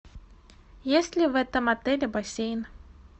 есть ли в этом отеле бассейн